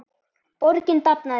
Borgin dafnaði vel.